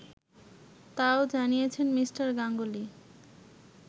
তাও জানিয়েছেন মি. গাঙ্গুলি